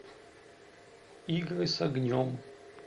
игры с огнем